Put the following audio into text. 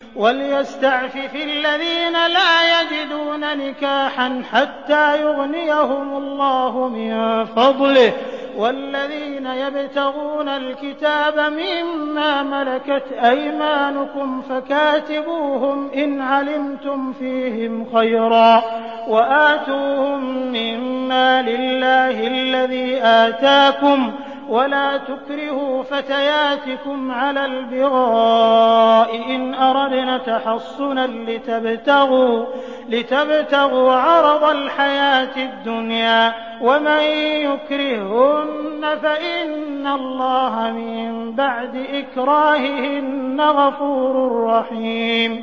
وَلْيَسْتَعْفِفِ الَّذِينَ لَا يَجِدُونَ نِكَاحًا حَتَّىٰ يُغْنِيَهُمُ اللَّهُ مِن فَضْلِهِ ۗ وَالَّذِينَ يَبْتَغُونَ الْكِتَابَ مِمَّا مَلَكَتْ أَيْمَانُكُمْ فَكَاتِبُوهُمْ إِنْ عَلِمْتُمْ فِيهِمْ خَيْرًا ۖ وَآتُوهُم مِّن مَّالِ اللَّهِ الَّذِي آتَاكُمْ ۚ وَلَا تُكْرِهُوا فَتَيَاتِكُمْ عَلَى الْبِغَاءِ إِنْ أَرَدْنَ تَحَصُّنًا لِّتَبْتَغُوا عَرَضَ الْحَيَاةِ الدُّنْيَا ۚ وَمَن يُكْرِههُّنَّ فَإِنَّ اللَّهَ مِن بَعْدِ إِكْرَاهِهِنَّ غَفُورٌ رَّحِيمٌ